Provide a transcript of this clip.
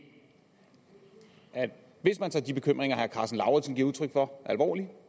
at hvis man tager de bekymringer herre karsten lauritzen giver udtryk for alvorligt